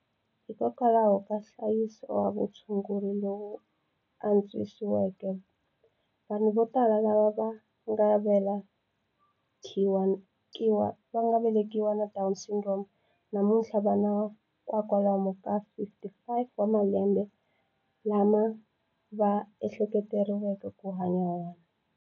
Hikokwalaho ka nhlayiso wa vutshunguri lowu antswisiweke, vanhu vo tala lava va nga velekiwa na Down Syndrome namuntlha va na kwalomu ka 55 wa malembe lama va ehleketeleriwaka ku hanya wona.